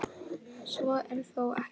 Svo er þó ekki.